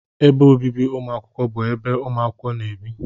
Ébé obibi umuakwukwo bụ ebe umuakwukwo na-ebi